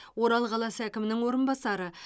орал қаласы әкімінің орынбасары